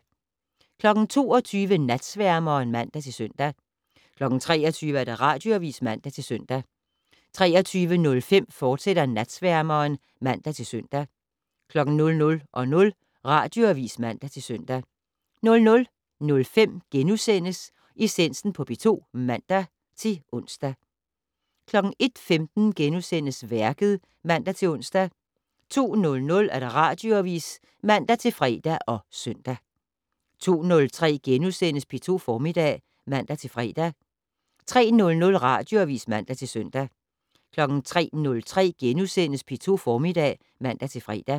22:00: Natsværmeren (man-søn) 23:00: Radioavis (man-søn) 23:05: Natsværmeren, fortsat (man-søn) 00:00: Radioavis (man-søn) 00:05: Essensen på P2 *(man-ons) 01:15: Værket *(man-ons) 02:00: Radioavis (man-fre og søn) 02:03: P2 Formiddag *(man-fre) 03:00: Radioavis (man-søn) 03:03: P2 Formiddag *(man-fre)